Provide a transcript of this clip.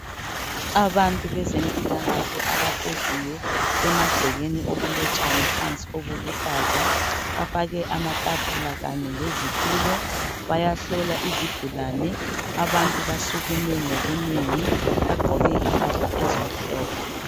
Abantu bezemphilakahle abahleziyo emagcekeni okulotshani phansi oluluhlaza, bafake amathafula kanye le zithulo bayahlola izigulane. Abantu basukume ngobunengi bagqoke imphahla ezimhlophe.